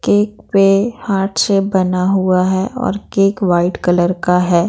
Cake पे heart shape बना हुआ है और केक वाइट कलर का है।